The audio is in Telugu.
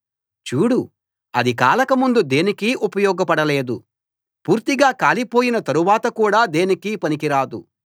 చూడు అది కాలకముందు దేనికీ ఉపయోగపడలేదు పూర్తిగా కాలిపోయిన తరువాత కూడా దేనికీ పనికి రాదు